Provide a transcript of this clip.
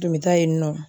Tun bɛ taa yen nɔ